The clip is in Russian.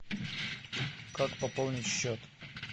как пополнить счет